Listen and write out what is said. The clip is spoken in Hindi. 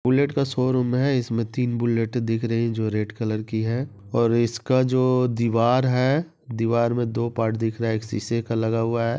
बुलेट का शोरूम है इसमें तीन बुलेटे दिख रहीं हैं जो रेड कलर की है और इसका जो दिवार है दिवार में दो पार्ट दिख रहा है एक शीशे का लगा हुआ है।